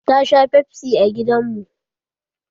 Ta sha fefsi a gidan mu.